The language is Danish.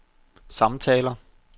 samtaler